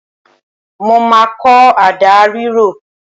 Mo máa kọ́ àdá rírọ